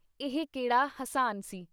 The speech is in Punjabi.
ਇਹ ਕਿਹੜਾ ਹਸਾਨ ਸੀ।